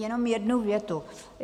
Jenom jednu větu.